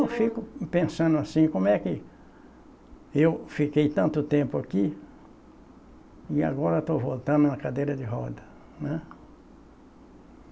Eu fico pensando assim, como é que eu fiquei tanto tempo aqui e agora estou voltando numa cadeira de rodas, né?